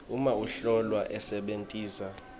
uma umhlolwa asebentisa